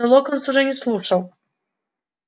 но локонс уже не слушал